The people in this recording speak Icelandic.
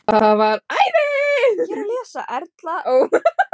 Erla: Og selst lúðan upp strax hjá þér þegar hún kemur?